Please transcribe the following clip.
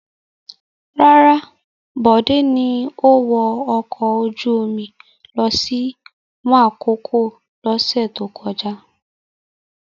Rárá, Bode ni ó wọ ọkọ̀ ojú-omi lọ sí Makòko lọ́sẹ̀ tó kọjá.